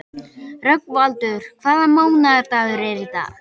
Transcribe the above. Rögnvaldur, hvaða mánaðardagur er í dag?